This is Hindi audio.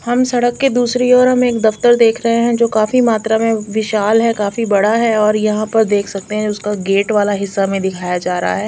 हम सड़क के दूसरी ओर हम एक दफ्तर देख रहे हैं जो काफी मात्रा में विशाल है काफी बड़ा है और यहां पर देख सकते हैं उसका गेट वाला हिस्सा में दिखाया जा रहा है।